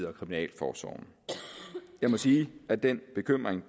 og kriminalforsorg jeg må sige at den bekymring